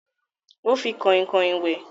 O fi Kọ̀inkọ̀in wẹ̀